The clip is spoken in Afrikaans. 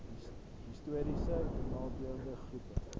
histories benadeelde groepe